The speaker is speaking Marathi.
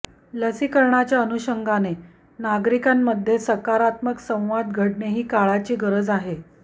लसीकरणाच्या अनुषंगाने नागरिकांमध्ये सकारात्मक संवाद घडणे ही काळाची गरज आहे